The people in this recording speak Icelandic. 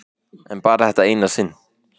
En bara þetta eina sinn.